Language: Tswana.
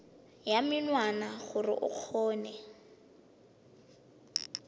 ya menwana gore o kgone